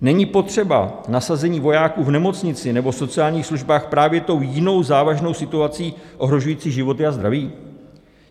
Není potřeba nasazení vojáků v nemocnici nebo sociálních službách právě tou jinou závažnou situací, ohrožující životy a zdraví?